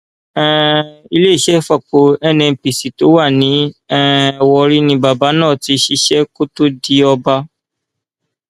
um iléeṣẹ ìfọpo nnpc tó wà ní um warri ni bàbá náà ti ṣiṣẹ kó tóó di ọba